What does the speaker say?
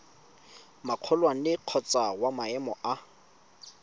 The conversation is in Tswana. magolwane kgotsa wa maemo a